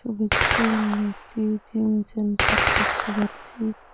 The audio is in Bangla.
ছবিটিতে আমরা একটি জিম সেন্টার দেখতে পাচ্ছি।